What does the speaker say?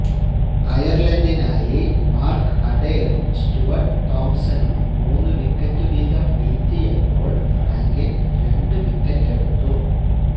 അയര്ലന്ഡിനായി Mark അഡൈറും Stuart തോംപ്സണും മൂന്ന് വിക്കറ്റ് വീതം വീഴ്ത്തിയപ്പോള് റാങ്കിന് രണ്ട് വിക്കറ്റെടുത്തു